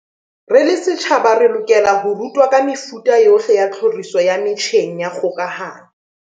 Se re setjhaba se lokela ho rutwa ka mefuta yohle ya tlhoriso ya metjheng ya kgokahano.